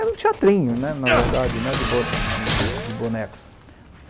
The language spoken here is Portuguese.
Era um teatrinho, na verdade, de, de bonecos.